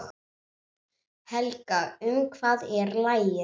Helga, um hvað er lagið?